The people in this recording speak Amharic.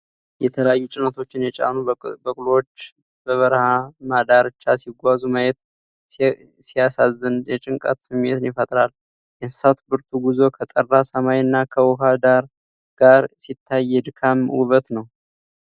የተለያዩ ጭነቶችን የጫኑ በቅሎዎች በረሃማ ዳርቻ ሲጓዙ ማየት ሲያሳዝን፣ የጭንቀት ስሜትን ይፈጥራል። የእንስሳቱ ብርቱ ጉዞ ከጠራ ሰማይና ከውሃ ዳራ ጋር ሲታይ፣ የድካም ውበት ነው።